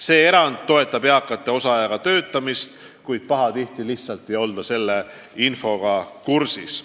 See erand toetab eakate osaajaga töötamist, kuid pahatihti lihtsalt ei olda selle infoga kursis.